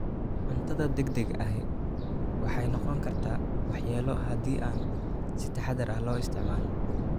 Cuntada degdega ahi waxay noqon kartaa waxyeello haddii aan si taxadar leh loo isticmaalin.